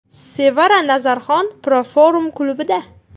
Sevara Nazarxon Proform klubida.